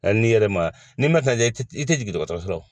A n'i yɛrɛ ma n'i ma lajɛ i tɛ i tɛ jigin dɔgɔtɔrɔso la